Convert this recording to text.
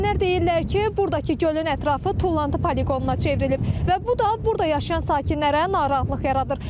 Sakinlər deyirlər ki, burdakı gölün ətrafı tullantı poliqonuna çevrilib və bu da burada yaşayan sakinlərə narahatlıq yaradır.